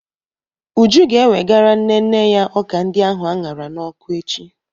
Uju ga-ewegara nne nne ya ọka ndi ahu aṅara n'ọkụ echi.